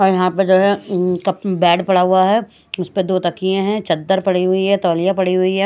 और यहां पर जो है बेड पड़ा हुआ है उस पे दो तकिए हैं चद्दर पड़ी हुई है तौलिया पड़ी हुई है।